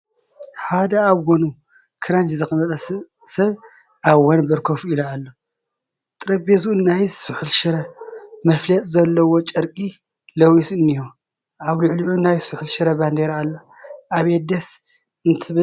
ሓደ ኣብ ጐኑ ክራንች ዘቐመጠ ሰብ ኣብ ወንበር ኮፍ ኢሉ ኣሎ፡፡ ጠረጴዝኡ ናይ ስሑል ሽረ መፋለጢ ዘለዎ ጨርቂ ለቢሱ እኒሀ፡፡ ኣብ ልዕሊዑ ናይ ስሑል ሽረ ባንዴራ ኣሎ፡፡ ኣቤት ደስ እንትብል፡፡